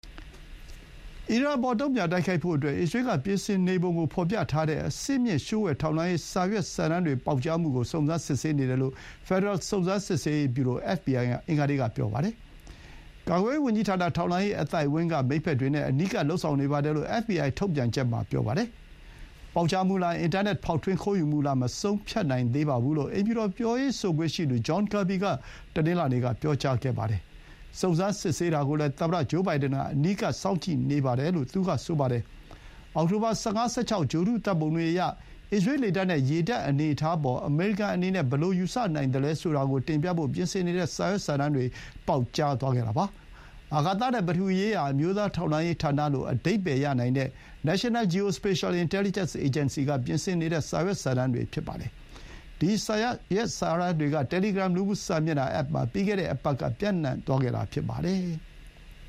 အီရန်အပေါ် တုံ့ပြန် တိုက်ခိုက်ဖို့အတွက် အစ္စရေးက ပြင်ဆင်နေပုံကို ဖော်ပြထားတဲ့ အဆင့်မြင့် လျှို့ဝှက် ထောက်လှမ်းရေးစာရွက်စာတမ်းတွေ ပေါက်ကြားမှုကို စုံစမ်းစစ်ဆေးနေတယ်လို့ ဖက်ဒရယ် စုံစမ်းစစ်ဆေးရေး ဗျူရို FBI က အင်္ဂါနေ့က ပြောပါတယ်။ ကာကွယ်ရေးဝန်ကြီးဌာန၊ ထောက်လှမ်းရေး အသိုက်အဝန်းက မိတ်ဘက်တွေနဲ့ အနီးကပ် လုပ်ဆောင် နေပါတယ်လို့ အက်ဖ်ဘီအိုင် ထုတ်ပြန်ချက် မှာ ပြောပါတယ်။ ပေါက်ကြားမှုလား၊ အင်တာနက် ဖောက်ထွင်း ခိုးယူမှုလား မဆုံးဖြတ်နိုင်သေးပါဘူးလို့ အိမ်ဖြူတော် ပြောရေးဆိုခွင့်ရှိသူ John Kirby က တနင်္လာနေ့က ပြောပါတယ်။ စုံစမ်းစစ်ဆေးတာကိုလည်း သမ္မတ ဂျိုးဘိုင်ဒန်က အနီးကပ် စောင့်ကြည့်နေပါတယ်လို့ သူက ဆိုပါတယ်။ အောက်တိုဘာ ၁၅-၁၆ ဂြိုဟ်တု ဓာတ်ပုံတွေအရ၊ အစ္စရေး လေတပ်နဲ့ ရေတပ် အနေအထားအပေါ် အမေရိကန်အနေနဲ့ ဘယ်လို ယူဆနိုင်သလဲ ဆိုတာကို တင်ပြဖို့ ပြင်ဆင်နေတဲ့ စာရွက်စာတမ်းတွေ ပေါက်ကြားသွားခဲ့တာ ဖြစ်ပါတယ်။ အာကာသနဲ့ ပထဝီရေးရာ အမျိုးသား ထောက်လှမ်းရေး ဌာနလို့ အဓိပ္ပါယ် ရနိုင်တဲ့ National Geospatial-Intelligence Agency က ပြင်ဆင်နေတဲ့ စာရွက်စာတမ်းတွေ ဖြစ်ပါတယ်။ ဒီ စာရွက်စာတမ်းတွေက Telegram လူမှု စာမျက်နှာ အက်ပ်မှာ ပြီးခဲ့တဲ့ အပတ်က ပျံ့နှံ့သွားခဲ့တာ ဖြစ်ပါတယ်။